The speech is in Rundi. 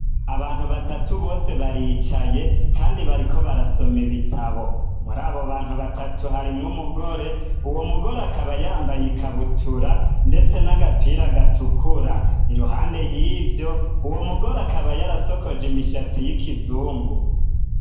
Abantu batatu, bose baricaye kandi bariko barasoma ibitabo, muri abo bantu batatu, harimwo umugore ,uwo mugore akaba yambaye ikabutura ndetse n'agapira gatukura, iruhande y'ivyo, uwo mugore akaba yarasokoje imishatsi y'ikizungu.